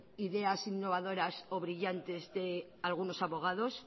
ideas innovadoras o brillantes de algunos abogados